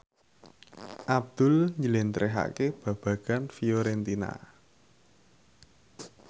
Abdul njlentrehake babagan Fiorentina